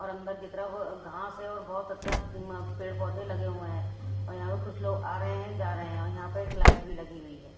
और अंदर की तरफ घास है और बहुत अच्छा पेड़-पौधे लगे हुए हैं और यहाँ पे कुछ लोग आ रहे हैंजा रहे हैं और यहाँ पे एक लाइट भी लगी हुई है।